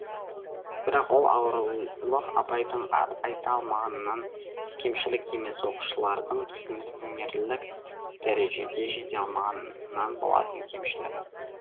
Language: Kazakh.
бірақ ол ауырлық абайдың айта алмағанынан кемшілік емес оқушылардың түсінерлік дәрежеге жете алмағанынан болатын кемшілік